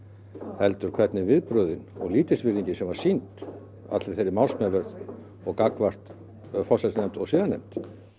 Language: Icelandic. heldur hvernig viðbrögðin og lítilsvirðingin sem var sýnd allri þeirri málsmeðferð og gagnvart forsætisnefnd og siðanefnd